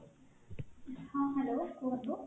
ହଁ hello କୁହନ୍ତୁ